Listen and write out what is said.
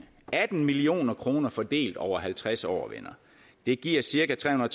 atten million kroner fordelt over halvtreds år venner det giver cirka trehundrede